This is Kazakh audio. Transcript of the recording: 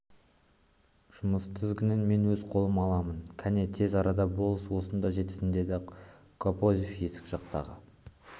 жұмыс тізгінін мен өз қолыма аламын кәне тез арада болыс осында жетсін деді кобозев есік жақтағы